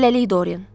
Hələlik Doryan.